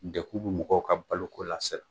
Deku bi mɔgɔw ka baloko la